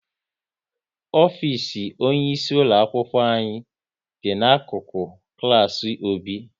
Ofisi onye isi ulo akwụkwọ anyị dị n'akụkụ klas Obi